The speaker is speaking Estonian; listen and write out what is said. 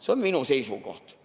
See on minu seisukoht.